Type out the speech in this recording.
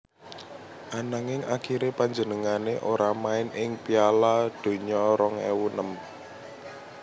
Ananging akhiré panjenengané ora main ing Piala Donya rong ewu enem